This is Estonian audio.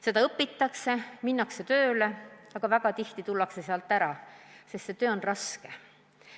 Seda õpitakse ja minnakse ka tööle, aga väga tihti tullakse sealt peagi ära, sest see töö on raske.